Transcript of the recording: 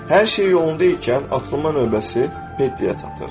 Hər şey yolunda ikən atılma növbəsi Pediyə çatır.